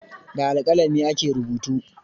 Da alƙalami ake rubutu